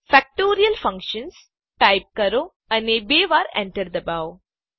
factorial Function type કરો અને બે વાર enter દબાવો